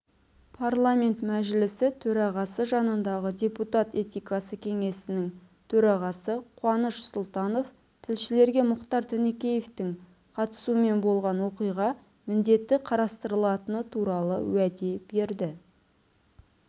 парламент мәжілісі төрағасы жанындағы депутат этикасы кеңесінің төрағасы қуаныш сұлтанов тілшілерге мұхтар тінікеевтің қатысуымен болған оқиға міндетті қарастырылатыны туралы уәде берді